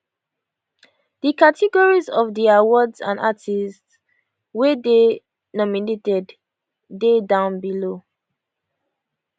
di categories of di awards and artistes wey dey nominated dey down below